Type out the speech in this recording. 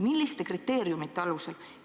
Milliste kriteeriumite alusel?